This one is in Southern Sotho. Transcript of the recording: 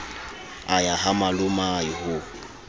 a ya ha malomae ho